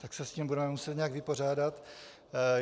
Tak se s tím budeme muset nějak vypořádat.